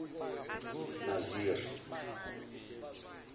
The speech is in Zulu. naziri